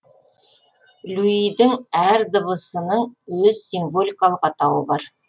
люйдің әр дыбысының өз символикалық атауы бар